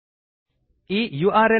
ಈ URLನಲ್ಲಿ ಸಿಗುವ ವಿಡಿಯೋ ಅನ್ನು ನೋಡಿ